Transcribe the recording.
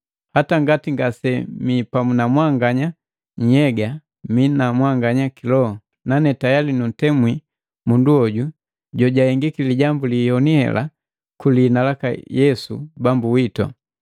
Hata ngati ngasemi pamu na mwanganya nnhyega, mii na mwanganya kiloho. Nane tayali nuntemwi mundu hoju jojahengiki lijambu liyoni heli kulihina laka Yesu Bambu witu.